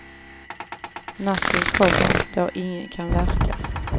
Natten kommer, då ingen kan verka.